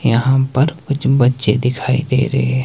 यहां पर कुछ बच्चे दिखाई दे रहे हैं।